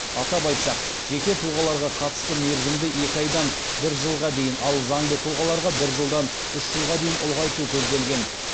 атап айтсақ жеке тұлғаларға қатысты мерзімді екі айдан бір жылға дейін ал заңды тұлғаларға бір жылдан үш жылға дейін ұлғайту көзделген